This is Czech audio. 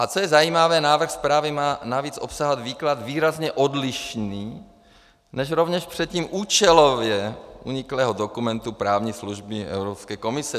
A co je zajímavé, návrh zprávy má navíc obsahovat výklad výrazně odlišný než rovněž předtím účelově uniklý dokument právní služby Evropské komise.